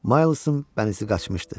Maylsın bənizi qaçmışdı.